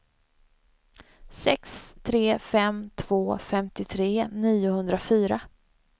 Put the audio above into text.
sex tre fem två femtiotre niohundrafyrtio